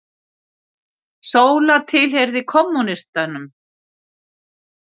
Sóla tilheyrði kommúnistum.